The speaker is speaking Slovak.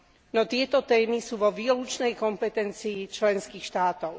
No tieto témy sú vo výlučnej kompetencii členských štátov.